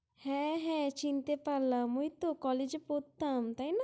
হ্যাঁ হ্যাঁ চিনতে পারলাম ।ওই তো college -এ পরতাম তাই না?